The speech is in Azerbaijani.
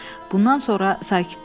Bundan sonra sakitləşdi.